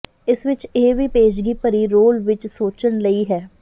ਇਸ ਵਿਚ ਇਹ ਵੀ ਪੇਸ਼ਗੀ ਭਰੀ ਰੋਲ ਵਿਚ ਸੋਚਣ ਲਈ ਹੈ